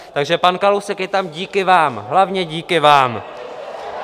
Takže pan Kalousek je tam díky vám, hlavně díky vám.